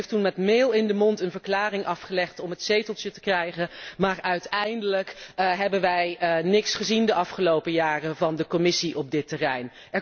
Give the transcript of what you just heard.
U heeft toen met meel in de mond een verklaring afgelegd om het zeteltje te krijgen, maar uiteindelijk hebben wij niks gezien de afgelopen jaren van de Commissie op dit terrein.